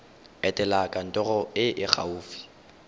etela kantoro e e gaufi